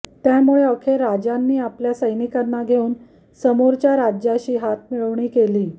त्यामुळे अखेर राजांनी आपल्या सैनिकांना घेऊन समोरच्या राज्याशी हातमिळवणी केली